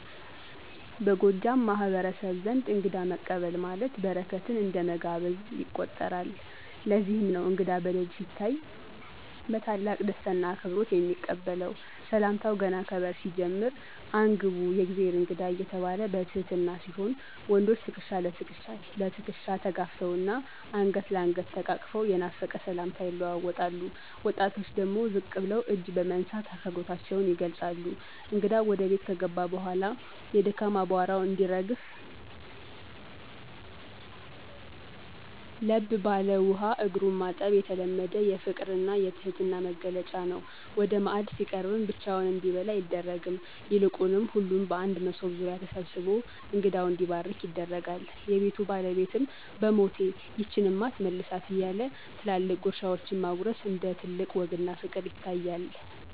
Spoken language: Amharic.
በጎጃም ማህበረሰብ ዘንድ እንግዳ መቀበል ማለት በረከትን እንደ መጋበዝ ይቆጠራል፤ ለዚህም ነው እንግዳ በደጅ ሲታይ በታላቅ ደስታና አክብሮት የሚቀበለው። ሰላምታው ገና ከበር ሲጀምር "አን! ግቡ፣ የእግዜር እንግዳ" እየተባለ በትህትና ሲሆን፣ ወንዶች ትከሻ ለትከሻ ተጋፍተውና አንገት ለአንገት ተቃቅፈው የናፈቀ ሰላምታ ይለዋወጣሉ፤ ወጣቶች ደግሞ ዝቅ ብለው እጅ በመንሳት አክብሮታቸውን ይገልጻሉ። እንግዳው ወደ ቤት ከገባ በኋላ የድካም አቧራው እንዲረግፍ ለብ ባለ ውሃ እግሩን ማጠብ የተለመደ የፍቅርና የትህትና መግለጫ ነው። ወደ ማዕድ ሲቀርብም ብቻውን እንዲበላ አይደረግም፤ ይልቁንም ሁሉም በአንድ መሶብ ዙሪያ ተሰብስቦ እንግዳው እንዲባርክ ይደረጋል። የቤቱ ባለቤትም "በሞቴ፣ ይህችንማ አትመልሳት" እያለ ትላልቅ ጉርሻዎችን ማጎረስ እንደ ትልቅ ወግና ፍቅር ይታያል።